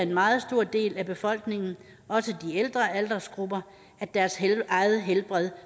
meget stor del af befolkningen også de ældre aldersgrupper at deres eget helbred